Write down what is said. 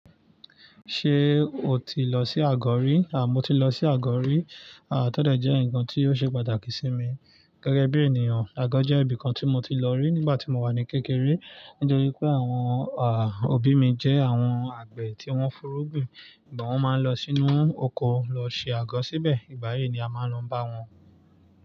Ṣé o ti lọ sí àgọ̀ rí? À mọ́ ti lọ sí àgọ̀ rí. À tọ̀dọ̀ jẹ́ ǹkan tí ó ṣe pàtàkì sí mi. Gẹ́gẹ́ bí ènìyàn, àgọ̀ jẹ́ ibi kan tí mo ti lọ rí nígbà tí mo wà ní kékeré. Nítorí pé àwọn à, òbí mi jẹ́ àwọn àgbẹ̀ tí wọ́n fúnrúgbìn. Nígbà wọ́n máa ń lọ sínú oko lọ ṣe àgọ̀ síbẹ̀, ìgbà yìí ni a máa ń lọ bá wọn.